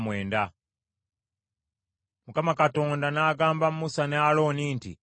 Mukama Katonda n’agamba Musa ne Alooni nti,